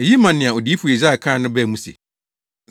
Eyi maa nea Odiyifo Yesaia kae no baa mu sɛ,